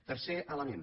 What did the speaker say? tercer element